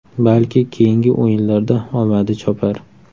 Balki keyingi o‘yinlarda omadi chopar.